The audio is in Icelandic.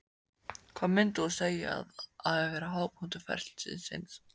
Hvað myndir þú segja að hafi verið hápunktur ferils þíns?